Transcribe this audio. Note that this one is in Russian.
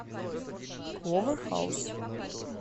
кловер хаус